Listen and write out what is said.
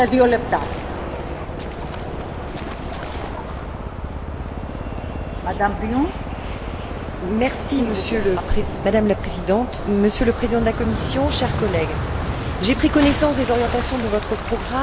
Madame la Présidente, Monsieur le Président de la Commission, chers collègues, j'ai pris connaissance des orientations de votre programme et je me réjouis de son ambition dans chacune des politiques majeures, telle que la politique économique, avec le maintien et la création d'activités,